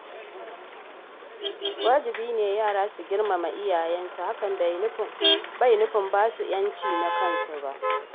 Wajibi ne yara su girmama iyayensu, hakan bai nufin ba su da ‘yanci na kansu ba.